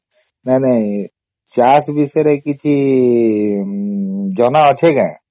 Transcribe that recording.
ନାଇଁ ନାଇଁ ଚାଷ ବିଷୟରେ କିଛି ଜଣା ଅଛେ କେ ?